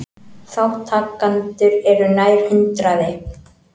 Þátttakendur eru nær hundraði